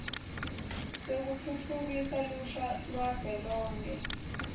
sekutfutfukisa lusha lwavelonkhe